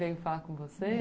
Veio falar com você?